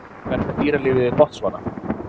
Hvernig er dýralífið í Botsvana?